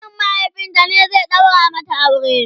ƙanin mahaifinta ne zai daura mata aure?